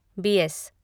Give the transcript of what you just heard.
Beas